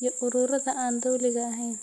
iyo ururada aan dawliga ahayn.